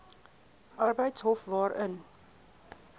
arbeidshof hof waarin